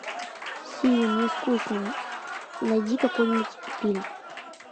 сири мне скучно найди какой нибудь фильм